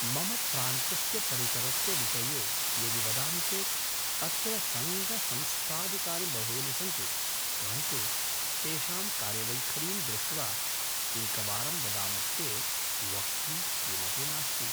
मम प्रान्तस्य परिसरस्य विषये यदि वदामि चेत् अत्र सङ्गसंस्थादिकानि बहूनि सन्ति परन्तु तेषां कार्यवैखरीं दृष्ट्वा एकवारं वदामश्चेत् वक्तुं किमपि नास्ति